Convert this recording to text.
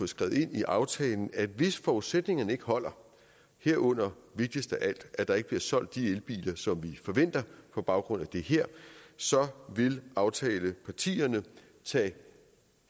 skrevet ind i aftalen at hvis forudsætningerne ikke holder herunder vigtigst af alt at der ikke bliver solgt de elbiler som vi forventer på baggrund af det her så vil aftalepartierne tage